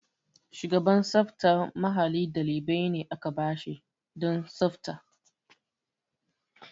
Shugaban tsaftar mahalli ɗalibi ne da aka ba shi don tsafta.